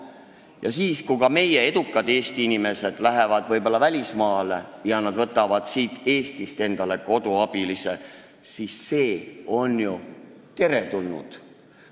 Ja kui edukad Eesti inimesed lähevad välismaale ja võtavad siit koduabilise kaasa, siis see on ju teretulnud.